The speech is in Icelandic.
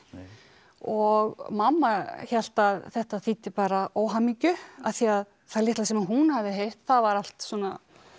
og mamma hélt að þetta þýddi bara óhamingju af því að það litla sem hún hafði heyrt það var allt svona